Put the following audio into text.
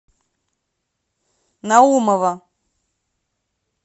наумова